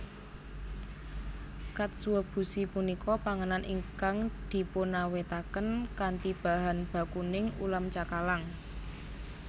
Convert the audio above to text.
Katsuobushi punika panganan ingkang dipunawètaken kanthi bahan bakuning ulam cakalang